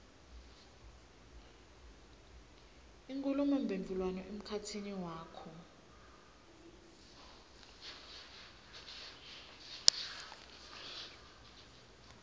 inkhulumomphendvulwano emkhatsini wakho